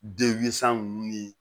ninnu ni